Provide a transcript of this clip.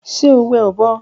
Ṣe o wẹ ọbọ